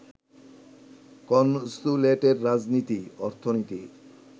কনস্যুলেটের রাজনীতি, অর্থনীতি